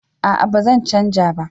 a'a ba zan canja ba